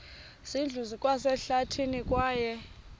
zindlu zikwasehlathini kwaye